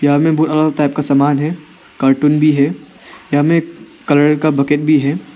सामने बहुत अलग अलग टाइप का समान है । कार्टून भी है। यहां में कलर का बकेट भी है।